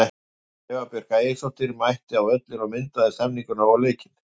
Eva Björk Ægisdóttir mætti á völlinn og myndaði stemmninguna og leikinn.